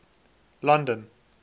london